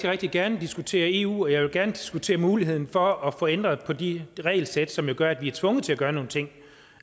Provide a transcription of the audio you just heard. rigtig gerne diskutere eu og jeg vil gerne diskutere muligheden for at få ændret på de regelsæt som jo gør at vi er tvunget til at gøre nogle ting